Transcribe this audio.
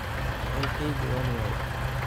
Jecelkeygi wan waye.